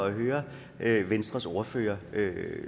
at høre venstres ordfører